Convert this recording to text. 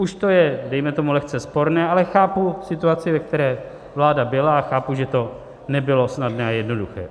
Už to je, dejme tomu, lehce sporné, ale chápu situaci, ve které vláda byla, a chápu, že to nebylo snadné a jednoduché.